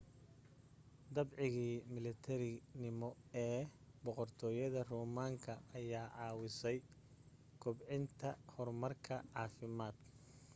dabcigii milatarinimo ee boqortooyada roomaanka ayaa caawisay kobcinta horumarka caafimaad